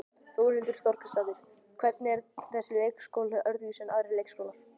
Þórhildur Þorkelsdóttir: Hvernig er þessi leikskóli öðruvísi en aðrir leikskólar?